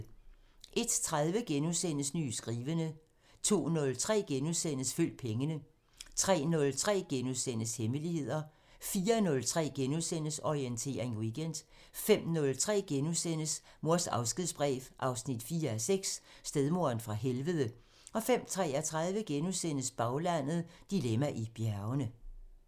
01:30: Nye skrivende * 02:03: Følg pengene * 03:03: Hemmeligheder * 04:03: Orientering Weekend * 05:03: Mors afskedsbrev 4:6 – Stedmoderen fra helvede * 05:33: Baglandet: Dilemma i bjergene *